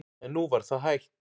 En nú var það hætt.